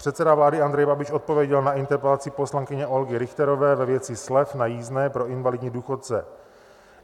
Předseda vlády Andrej Babiš odpověděl na interpelaci poslankyně Olgy Richterové ve věci slev na jízdném pro invalidní důchodce.